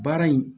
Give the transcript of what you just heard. Baara in